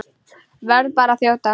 Verð bara að þjóta!